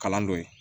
Kalan dɔ ye